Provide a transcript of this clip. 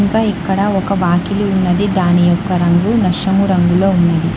త ఇక్కడ ఒక వాకిలి ఉన్నది దాని యొక్క రంగు నషము రంగులో ఉన్నది.